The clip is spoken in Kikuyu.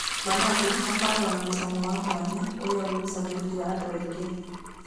Managu makoragwo na mũcamo wa mwanya ũrĩa ũgucagĩrĩria andũ aingĩ.